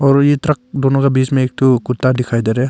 और ये ट्रक दोनों के बीच में एक ठो कुत्ता दिखाई दे रहा हैं।